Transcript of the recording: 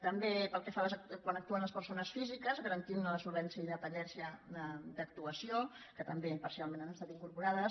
també quan actuen les persones físiques i garantir ne la solvència i independència d’actuació que també parcialment han estat incorporades